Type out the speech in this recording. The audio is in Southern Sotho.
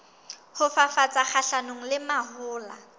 ho fafatsa kgahlanong le mahola